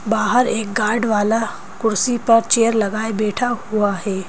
बाहर एक गार्ड वाला कुर्सी पर चेयर लगाए बैठा हुआ है।